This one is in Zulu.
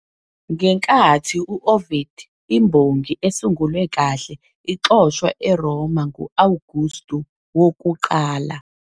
Ngenkathi u- Ovid, imbongi esungulwe kahle, waxoshwa eRoma ngu- Awugustu wokuqala.